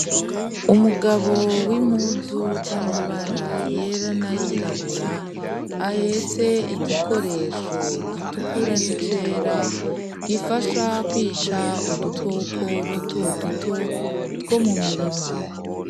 Umugabo w'impuzu z'amabara yera n'ayirabura, ahetse igikoresho gitukura n'icera gifasha kwica udukoko dutoduto two mu mirima.